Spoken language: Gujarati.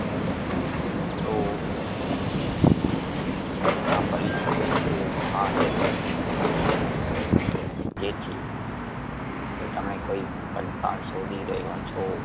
તો તેના પરિતોષિકો મહાન હોઈ શકે છે . જેથી જો તમે કોઈ પડકાર શોધી રહ્યા છો